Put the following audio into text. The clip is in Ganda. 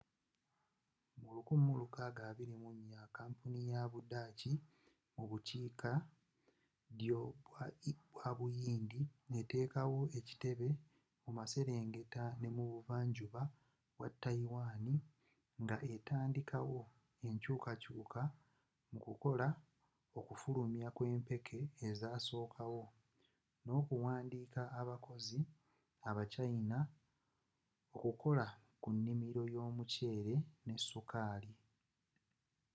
mu 1624 kampuni ya budaachi mu bukiikaddyo bwa buyindi eteekawo ekitebe mumaserengeta n'ebuva njuba bwa tayiwani nga etandiikawo enkyukakyuka mu kukola okufulumya kw'empeke ezasooka wo n'okuwandiika abakozi aba china okukola ku nnimiro y'omuceere ne sukaali